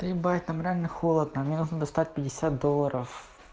да ебать там реально холодно мне нужно достать пятьдесят долларов